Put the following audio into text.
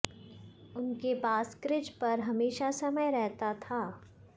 उनके पास क्रिज पर हमेशा समय रहता था